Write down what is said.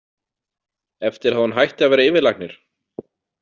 Eftir að hún hætti að vera yfirlæknir?